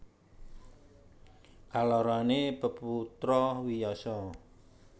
Kaloroné peputra Wiyasa